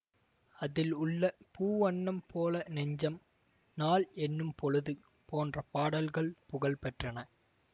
அதில் உள்ள பூ வண்ணம் போல நெஞ்சம் நாள் எண்ணும் பொழுது போன்ற பாடல்கள் புகழ்பெற்றன